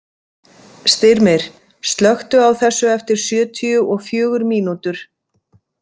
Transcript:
Styrmir, slökktu á þessu eftir sjötíu og fjögur mínútur.